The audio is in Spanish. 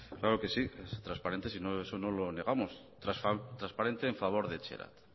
claro que sí es transparente si eso no lo negamos transparente en favor de etxerat